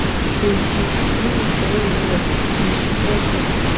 поищи фильм трое в лодке не считая собаки